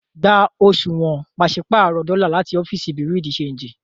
Gbà òṣuwọ́n pàṣipárọ̀ dọ́lá láti òfìíṣí Bureau-de-chanjì!